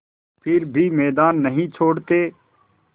फिर भी मैदान नहीं छोड़ते